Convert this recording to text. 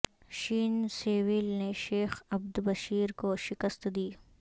شین سیویل نے شیخ عبد بشیر کو شکست دی